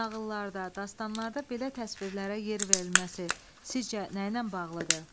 Nağıllarda, dastanlarda belə təsvirlərə yer verilməsi sizcə nəylə bağlıdır?